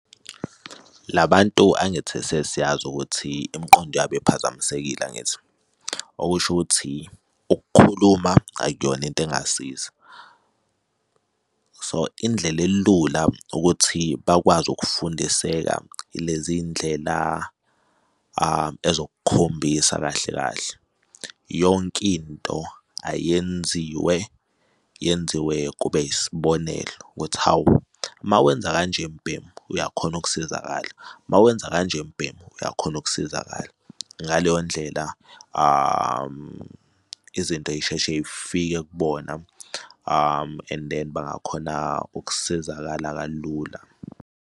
La bantu angithi sesiyazi ukuthi imiqondo yabo iphazamisekile, angithi? Okusho ukuthi ukukhuluma akuyona into engasiza, so indlela elula ukuthi bakwazi ukufundiseka Ileziy'ndlela ezokukhombisa kahle kahle. Yonke into ayenziwe yenziwe kube yisibonelo ukuthi hawu, uma wenza kanje mbhemu uyakhona ukusizakala, uma wenza kanje mbemu uyakhona ukusizakala. Ngaleyo ndlela izinto y'sheshe y'fike kubona and then bangakhona ukusizakala kalula.